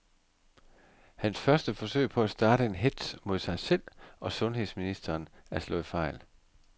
Hans første forsøg på at starte en hetz mod sig selv og sundheds ministeren er slået fejl.